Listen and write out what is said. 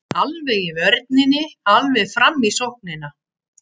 Alveg í vörninni alveg fram í sóknina.